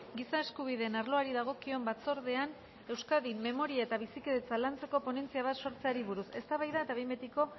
giza eskubideen arloari dagokion batzordean euskadin memoria eta bizikidetza lantzeko ponentzia bat sortzeari buruz eztabaida eta behin betiko